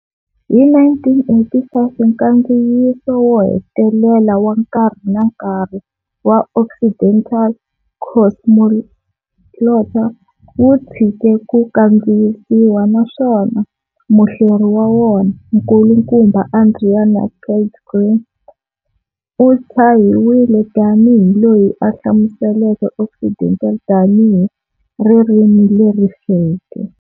Hi 1985 nkandziyiso wo hetelela wa nkarhi na nkarhi wa Occidental, Cosmoglotta, wu tshike ku kandziyisiwa, naswona muhleri wa wona, Nkulukumba Adrian Pilgrim, u tshahiwile tanihi loyi a hlamuseleke Occidental tanihi ririmi leri feke.